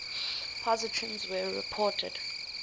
positrons were reported